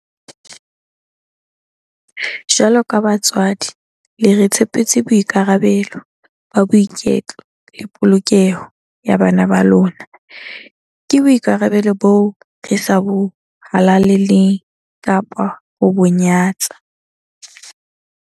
Jwaloka batswadi, le re tshepetse boikarabelo ba boiketlo le polokeho ya bana ba lona. Ke boikarabelo boo re sa bo halaleng kapa ho bo nyatsa.